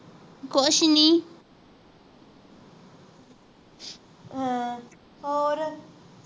ਕੁਛ ਨੀ ਹਾਂ ਹੋਰ